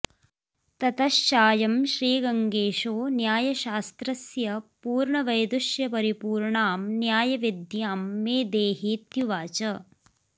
ततश्चायं श्रीगङ्गेशो न्यायशास्त्रस्य पूर्णवैदुष्यपरिपूर्णां न्यायविद्यां मे देही त्युवाच